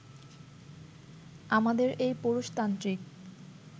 আমাদের এই পুরুষতান্ত্রিক